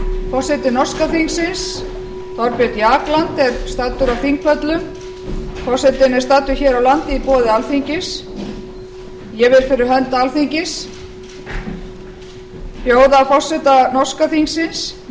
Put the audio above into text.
forseti norska þingsins thorbjörn jagland er staddur á þingpöllum forsetinn er staddur hér á landi í boði alþingis ég vil fyrir hönd alþingis bjóða forseta norska þingsins